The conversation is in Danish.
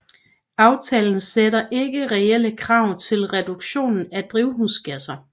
Aftalen sætter ikke reelle krav til reduktion af drivhusgasser